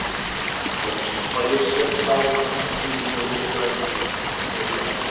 Loksins fæ ég séð sál hans í skýru ljósi græðginnar, sem felur ekkert.